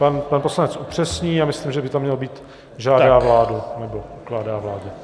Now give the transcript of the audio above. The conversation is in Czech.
Pan poslanec upřesní, já myslím, že by tam mělo být žádá vládu nebo ukládá vládě.